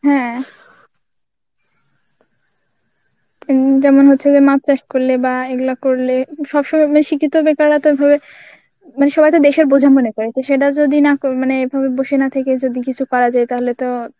হ্যা.যেমন হচ্ছে যে মাছ চাষ করলে বা এগুলা করলে সব সময় শিক্ষিত বেকাররা তো ভাবে সবাই তো দেশের বোঝা মনে করে তো সেটা যদি না মন~ মানে এভাবে বসে না থেকে যদি কিছু করা যায় তাহলে তো